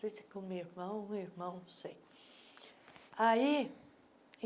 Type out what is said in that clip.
Não sei se com minha irmã ou irmão, não sei. aí